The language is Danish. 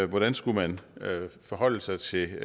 hvordan skulle man forholde sig til